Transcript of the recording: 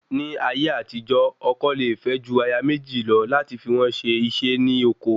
Ni ayé àtijó, ọkọ le fe ju aya meji lọ lati fi won se ise ni oko